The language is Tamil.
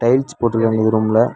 டைல்ஸ் போட்ருக்காங்க இது ரூம்ல .